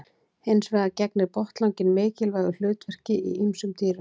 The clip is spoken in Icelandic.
Hins vegar gegnir botnlanginn mikilvægu hlutverki í ýmsum dýrum.